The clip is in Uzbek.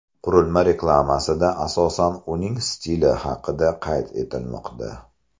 Qurilma reklamasida asosan uning stili alohida qayd etilmoqda.